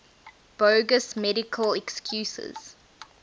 bogus medical excuses